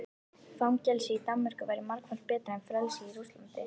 Fangelsi í Danmörku væri margfalt betra en frelsi í Rússlandi.